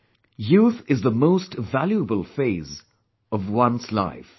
" Youth is the most valuable phase, of one's life